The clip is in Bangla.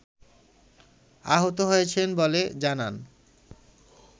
আহত হয়েছেন বলে জানান